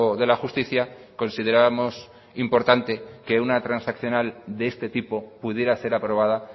de la justicia considerábamos importante que una transaccional de este tipo pudiera ser aprobada